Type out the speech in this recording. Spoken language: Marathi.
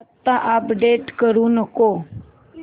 आता अपडेट करू नको